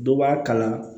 Dɔ b'a kala